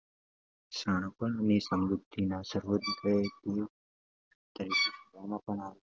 શાણપણ અને સમૃદ્ધિના સર્વોચ્ચ દેવ તરીકે જોવામાં આવે